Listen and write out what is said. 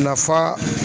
Lafa